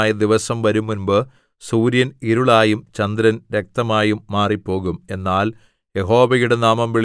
യഹോവയുടെ വലുതും ഭയങ്കരവുമായ ദിവസം വരുംമുമ്പ് സൂര്യൻ ഇരുളായും ചന്ദ്രൻ രക്തമായും മാറിപ്പോകും